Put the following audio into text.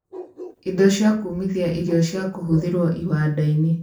Indo cia kũũmithia irio cia kũhũthĩrwo iwanda-inĩ